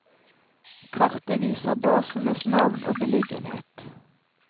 Kartet viser basenes navn og beliggenhet.